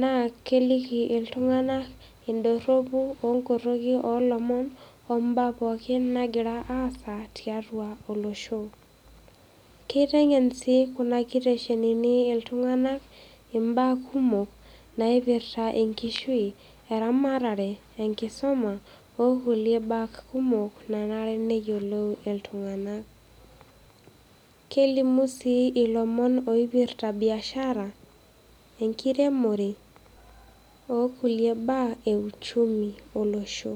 naa keliki iltung'anak in`dorropu o nkorroki oolomon, ombaa pooki naagira aasa tiatua olosho. Keiteng'en sii kuna kiteshenini iltung'anak imbaa kumok naipirta enkishui, eramatare, enkisuma o kulie baa kumok nanare neyiolou iltung'anak. Kelimu sii ilomon ooipirta biashara, enkiremore o kulie baa e uchumi olosho.